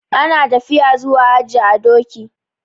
Ana tafiya zuwa haji a doki.